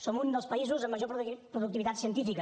som un dels països amb major productivitat científica